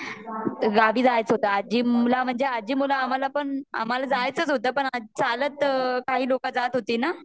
गावी जायाच होता आजी ला म्हणजे आजी मुले आम्हाला आम्हाला जायचच होता पण चालत काही लोक जात होती ना